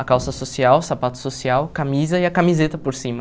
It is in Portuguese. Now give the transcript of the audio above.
A calça social, sapato social, camisa e a camiseta por cima.